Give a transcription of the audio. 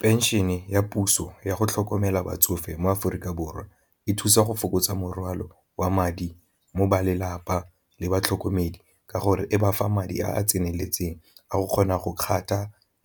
Pension e ya puso yago tlhokomela batsofe mo Aforika Borwa e thusa go fokotsa morwalo wa madi mo balelapa le batlhokomedi, ka gore e bafa madi a a tseneletseng a go kgona go